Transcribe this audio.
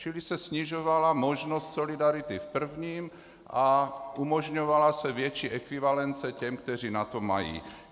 Čili se snižovala možnost solidarity v prvním a umožňovala se větší ekvivalence těm, kteří na to mají.